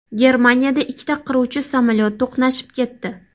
Germaniyada ikkita qiruvchi samolyot to‘qnashib ketdi.